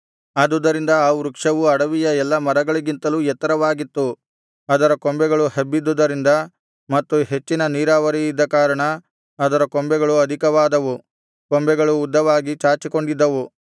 ಆದುದರಿಂದ ಆ ವೃಕ್ಷವು ಅಡವಿಯ ಎಲ್ಲಾ ಮರಗಳಿಗಿಂತಲೂ ಎತ್ತರವಾಗಿತ್ತು ಅದರ ಕೊಂಬೆಗಳು ಹಬ್ಬಿದ್ದುದರಿಂದ ಮತ್ತು ಹೆಚ್ಚಿನ ನೀರಾವರಿಯಿದ್ದ ಕಾರಣ ಅದರ ಕೊಂಬೆಗಳು ಅಧಿಕವಾದವು ಕೊಂಬೆಗಳು ಉದ್ದವಾಗಿ ಚಾಚಿಕೊಂಡಿದ್ದವು